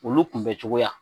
Olu kunbɛncogoya